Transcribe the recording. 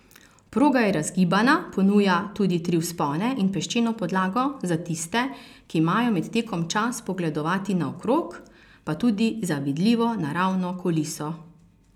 Proga je razgibana, ponuja tudi tri vzpone in peščeno podlago, za tiste, ki imajo med tekom čas pogledovati naokrog, pa tudi zavidljivo naravno kuliso.